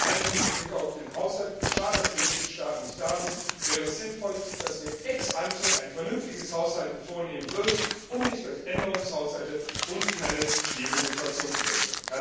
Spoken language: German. Und vor allen Dingen mit Blick auf den Haushalt es ist schade, dass die Mitgliedstaaten nicht vertreten sind wäre es sinnvoll, dass wir ex ante ein vernünftiges Haushalten vornehmen, um uns nicht durch Änderungshaushalte in eine schwierige Situation zu bringen.